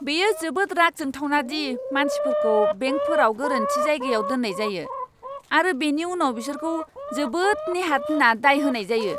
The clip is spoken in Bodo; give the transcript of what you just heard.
बेयो जोबोद राग जोंथावना दि मानसिफोरखौ बेंकफोराव गोरोन्थि जायगायाव दोननाय जायो, आरो बेनि उनाव बिसोरखौ जोबोद नेहाथ होनना दाय होनाय जायो।